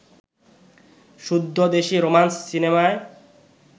শুদ্ধ দেশী রোমান্স সিনেমায়